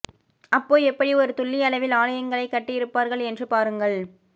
அப்போ எப்படி ஒரு துல்லிய அளவில் ஆலயங்களை கட்டி இருப்பார்கள் என்று பாருங்கள்